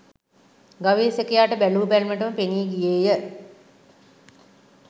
ගවේෂකයාට බැලූ බැල්මටම පෙනී ගියේය